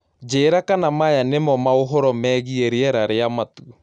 njĩĩra kana maya nĩ ma maaũhoro wĩĩgĩe rĩera rĩa matũ